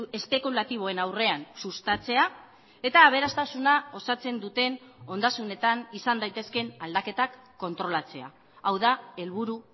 espekulatiboen aurrean sustatzea eta aberastasuna osatzen duten ondasunetan izan daitezkeen aldaketak kontrolatzea hau da helburu